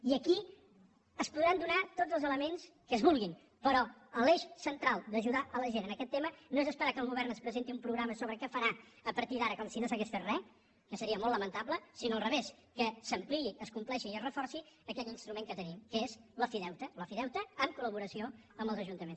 i aquí es podran donar tots els elements que es vulguin però l’eix central d’ajudar la gent en aquest tema no és esperar que el govern ens presenti un programa sobre què farà a partir d’ara com si no s’hagués fet res que seria molt lamentable sinó al revés que s’ampliï es compleixi i es reforci aquest instrument que tenim que és l’ofideute l’ofideute en col·laboració amb els ajuntaments